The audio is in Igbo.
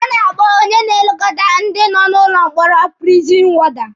A na-akpọ onye na-elekọta ndị nọ n'ụlọ mkpọrọ prizin wọda.